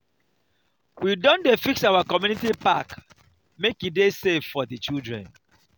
we don dey fix our community park make e dey safe for di children.